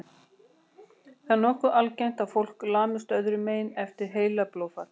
Það er nokkuð algengt að fólk lamist öðrum megin eftir heilablóðfall.